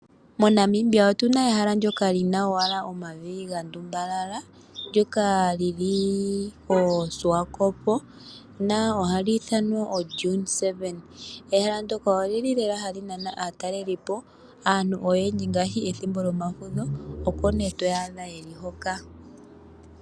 Monamibia otu na mo ehala ndyoka li na omavi ga ngundumana ndyoka li li koSwakopmund ha li ithanwa Dune 7. Ehala ndika oha li nana aatalelipo. Aantu oyendji unene pethimbo lyomafudho oko to adha ye li hoka.